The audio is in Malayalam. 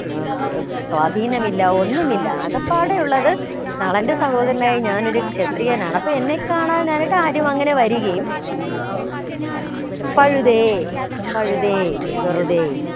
ഏർ സ്വാധീനമില്ല ഒന്നുമില്ല ആകപ്പാടെയുള്ളത് നളന്റെ സഹോദരനായ ഞാനൊരു ക്ഷത്രിയൻ ആണ് അപ്പോ കാണാൻ എനിക്ക് ആരും അങ്ങനെ വരികയും ഇല്ല പഴുതേ പഴുതേ വെറുതെ